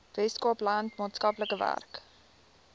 weskaapland maatskaplike werk